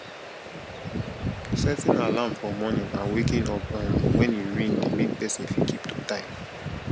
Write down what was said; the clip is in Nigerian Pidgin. setting alarm for morning and waking up um when e ring de make persin fit keep to time